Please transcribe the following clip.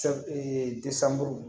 Sɛfu ee